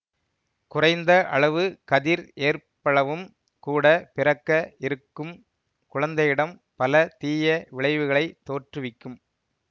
குறைந்த அளவு கதிர் ஏற்பளவும் கூட பிறக்க இருக்கும் குழந்தையிடம் பல தீய விளைவுகளைத் தோற்றுவிக்கும்